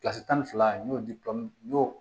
kilasi tan ni fila n y'o di n y'o